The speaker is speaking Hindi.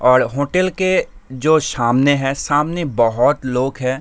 और होटल के जो शामने है सामने बहोत लोग है।